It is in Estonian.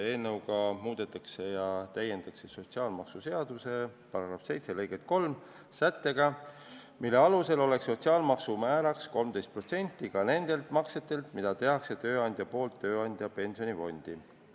Eelnõuga muudetakse ja täiendatakse sotsiaalmaksuseaduse § 7 lõiget 3 sättega, mille alusel oleks sotsiaalmaksu määraks 13% ka nende maksete puhul, mida tööandja teeb töötaja pensionifondi.